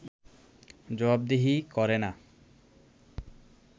জবাবদিহি করে না